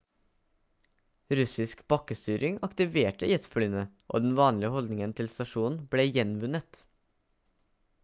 russisk bakkestyring aktiverte jetflyene og den vanlige holdningen til stasjonen ble gjenvunnet